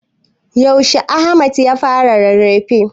Yaushe Ahmad ya fara rarrafe?